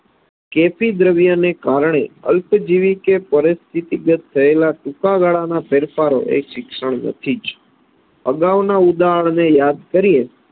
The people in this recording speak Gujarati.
કેફી દ્રવ્યને કારણે અલ્પજીવી કે પરિસ્થિતિગત થયેલા ટૂંકાગાળાના ફેરફારો એ શિક્ષણ નથી જ અગાઉના ઉદાહરણને યાદ કરીએ